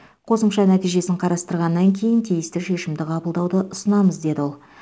қосымша нәтижесін қарастырғаннан кейін тиісті шешімді қабылдауды ұсынамыз деді ол